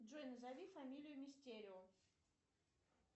джой назови фамилию мистерио